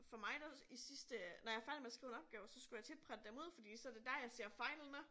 For mig der i sidste når jeg er færdig med at skrive en opgave så skulle jeg tit printe dem ud for så det der jeg ser fejlene